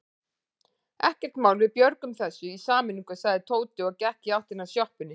Ekkert mál, við björgum þessu í sameiningu sagði Tóti og gekk í áttina að sjoppunni.